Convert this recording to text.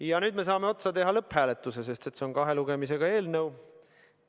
Ja nüüd saame teha lõpphääletuse, sest see on kahe lugemisega eelnõu.